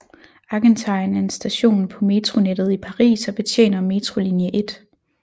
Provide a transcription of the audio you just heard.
Argentine er en station på metronettet i Paris og betjener metrolinje 1